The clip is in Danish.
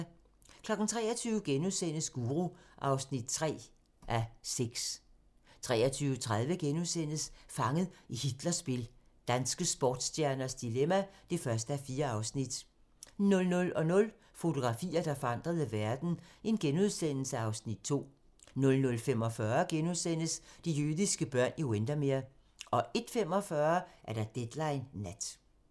23:00: Guru (3:6)* 23:30: Fanget i Hitlers spil - danske sportsstjerners dilemma (2:4)* 00:00: Fotografier, der forandrede verden (Afs. 2)* 00:45: De jødiske børn i Windermere * 01:45: Deadline Nat *